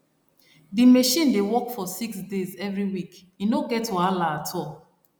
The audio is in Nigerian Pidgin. di machine dey work for six days every week e no get wahala at all